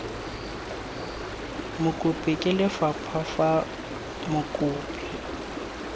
mokopi ke lefapha fa mokopi